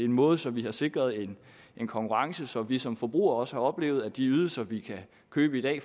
måde så vi er sikret en konkurrence så vi som forbrugere også har oplevet at de ydelser vi kan købe i